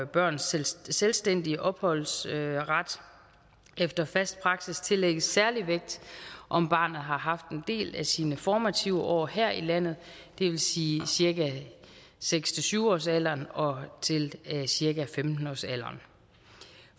børns selvstændige opholdsret efter fast praksis tillægges en særlig vægt om barnet har haft en del af sine formative år her i landet det vil sige cirka seks syv årsalderen og til cirka femten årsalderen